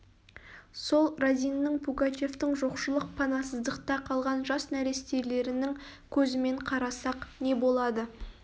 сол разиннің пугачевтің жоқшылық панасыздықта қалған жас нәрестелерінің көзімен қарасақ не болады